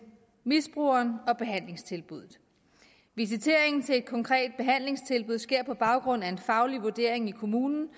misbruger og behandlingstilbud visiteringen til et konkret behandlingstilbud sker på baggrund af en faglig vurdering i kommunen